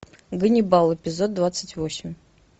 ганнибал эпизод двадцать восемь